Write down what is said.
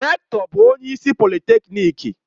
Rektọ bụ onye isi polịtekniki